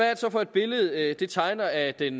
for et billede det tegner af den